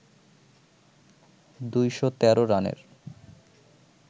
২১৩ রানের